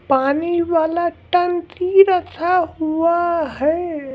पानी वाला टंकी रखा हुआ है।